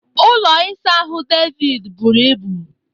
Ụlọ ịsa ahụ David buru ibu